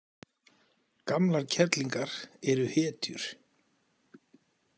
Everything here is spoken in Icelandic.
Gamlar kerlingar eru hetjur.